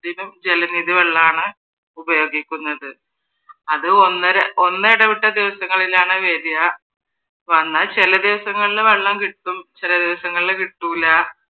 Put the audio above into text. ജലനിധി വെള്ളമാണ് ഉപയോഗിക്കുന്നത്. അത ഒന്നിടവെട്ട ദിവസങ്ങളിലാണ് വരുവാ വന്നാൽ ചില ദിവസങ്ങളിൽ വെള്ളം കിട്ടും ചില ദിവസങ്ങളില് കിട്ടൂല.